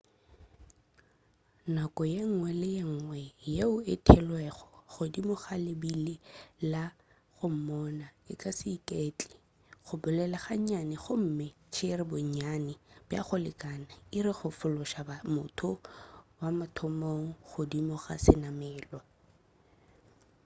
nako yengwe le yengwe yeo e theelwego godimo ga lebile la go moona e ka se iketle go bolela ga nnyane gomme go tšere bonnyane bja go lekana iri go fološa motho wa mathomo godimo ga senamelwa